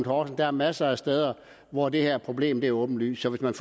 og der er masser af steder hvor det her problem er åbenlyst hvis man